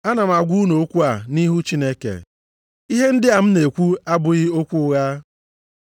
Ana m agwa unu okwu a nʼihu Chineke. Ihe ndị a m na-ekwu abụghị okwu ụgha.